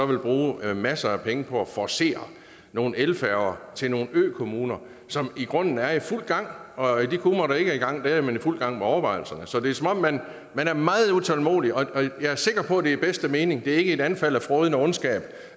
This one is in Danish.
vil bruge masser af penge på at forcere nogle elfærger til nogle økommuner som i grunden er i fuld gang og i de kommuner der ikke er i gang er man i fuld gang med overvejelserne så det er som om man er meget utålmodig jeg er sikker på at det er i bedste mening det er ikke i et anfald af frådende ondskab